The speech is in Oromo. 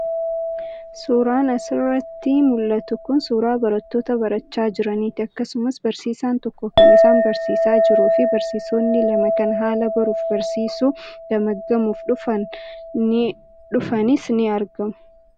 Suuraan as irratti mul'atu kun suuraa barattoota barachaa jiranii ti. Akkasumas barsiisaan tokko kan isaan barsiisaa jiruu fi barsiisonni lama kan haala baruu fi barsiisuu gamaggamuuf dhufan ni as irratti mul'atu.